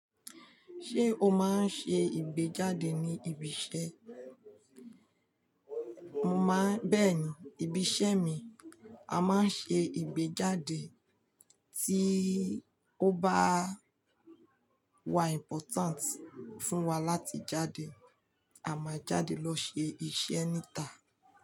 Ṣé o máa ń ṣe ìgbéjáde ní ibi iṣẹ́? Má-- bẹ́ẹ̀ni, ibi iṣẹ́ mi a máa ń ṣe ìgbéjáde tí ó bá wa important fún wa láti jáde. A máa jáde lọ ṣe iṣẹ́ níta.